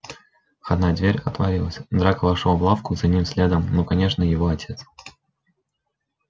входная дверь отворилась драко вошёл в лавку за ним следом ну конечно его отец